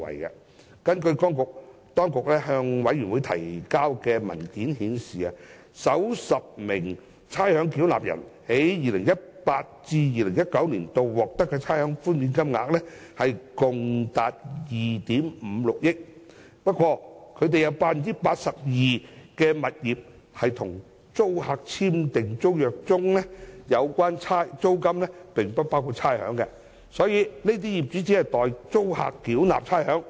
當局向小組委員會提交的文件顯示，首10名差餉繳納人在 2018-2019 年度獲得的差餉寬免金額共達2億 5,600 萬元。不過，當中有 82% 的物業在與租客簽訂的租約中，訂明有關租金並不包括差餉，業主只是代租客繳交差餉。